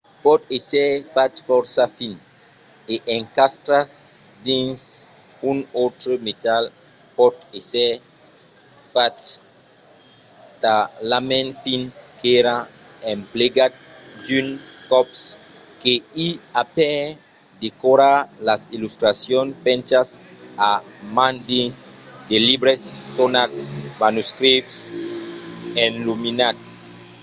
pòt èsser fach fòrça fin e encastrat dins un autre metal. pòt èsser fach talament fin qu’èra emplegat d'unes còps que i a per decorar las illustracions penchas a man dins de libres sonats manuscriches enluminats